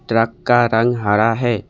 Truck का रंग हरा है।